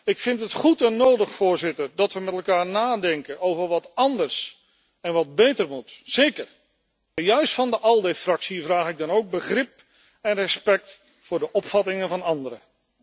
Ik vind het goed en nodig dat we met elkaar nadenken over wat anders en wat beter moet, zeker. Maar juist van de ALDE fractie vraag ik dan ook begrip en respect voor de opvattingen van anderen.